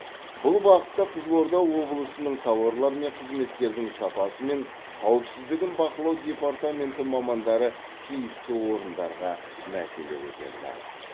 бұл бағытта қызылорда облысының тауарлар мен қызметтердің сапасы мен қауіпсіздігін бақылау департаменті мамандары тиісті орындарға мәселе көтерді